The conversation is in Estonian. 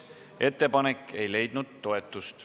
Ettepanek ei leidnud toetust.